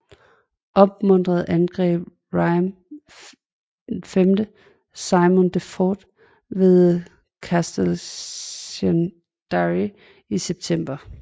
Opmuntret angreb Raymond VI Simon de Montfort ved Castelnaudary i september